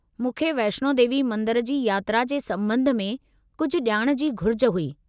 मूंखे वैष्णो देवी मंदर जी यात्रा जे संबं॒ध में कुझु ॼाण जी घुरिज हुई।